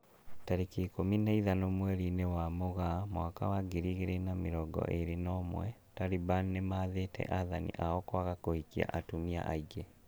Tariki ikũmi na ithano mweri-inĩ wa Mũgaa mwaka wa ngiri igĩrĩ na mĩrongo ĩrĩ na ũmwe, Taliban nĩmathĩte athani ao kwaga kũhikia atumia aingĩ